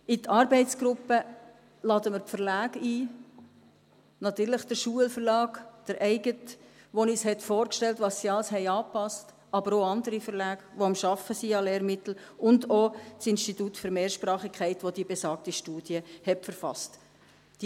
In die Arbeitsgruppe laden wir die Verlage ein, natürlich den Schulverlag, den eigenen, der uns vorgestellt hat, was sie alles angepasst haben, aber auch andere Verlage, die derzeit an anderen Lehrmitteln arbeiten, und auch das Institut für Mehrsprachigkeit, welches die besagte Studie verfasst hat.